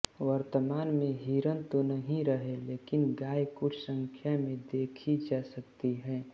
वर्तमान में हिरन तो नहीं रहे लेकिन गाय कुछ संख्या में देखी जा सकती है